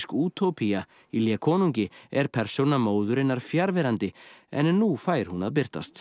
útópía í konungi er persóna móðurinnar fjarverandi en nú fær hún að birtast